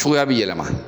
Cogoya bi yɛlɛma